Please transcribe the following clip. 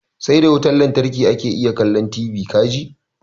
Sai da wutan lantarki ake iya kallon kalli ka ji.